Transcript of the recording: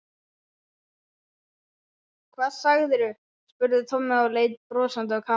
Hvað sagðirðu? spurði Tommi og leit brosandi á Kamillu.